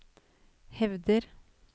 hevder